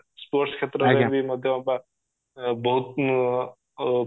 sports କ୍ଷେତ୍ର ରେ ବି ମଧ୍ୟ ବହୁତ